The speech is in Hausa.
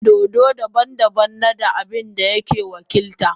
Dodo daban-daban na da abin da yake wakilta.